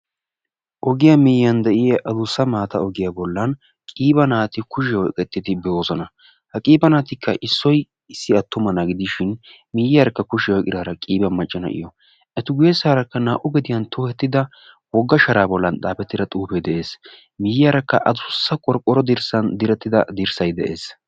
Ogiya migiya de'iya adussa maatta ogiyan issoy de'ees. Etta adussa sharan xaafettidda xuufe de'ees.